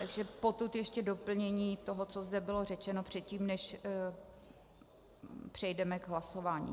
Takže potud ještě doplnění toho, co zde bylo řečeno, předtím než přejdeme k hlasování.